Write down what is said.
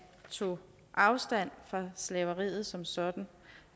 tog afstand fra slaveriet som sådan